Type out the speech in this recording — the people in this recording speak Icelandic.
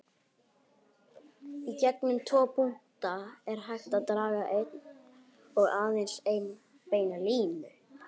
Í gegnum tvo punkta er hægt að draga eina og aðeins eina beina línu.